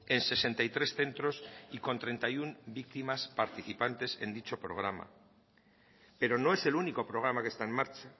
en sesenta y tres centros y con treinta y uno víctimas participantes en dicho programa pero no es el único programa que está en marcha